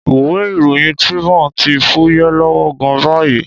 Ìwé ìròyìn Tribune ti fúyẹ́ lọ́wọ́ gan-an báyìí.